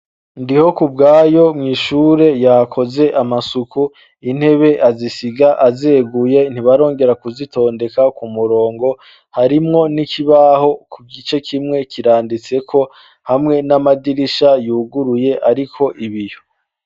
Ndihokubwayo mw'ishure yakoze amasuku, intebe azisiga azeguye, ntibarongera kuzitondeka ku murongo, harimwo n'ikibaho, ku gice kimwe kiranditseko hamwe n'amadirisha yuguruye ariko ibiyo.